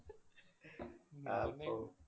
അപ്പൊ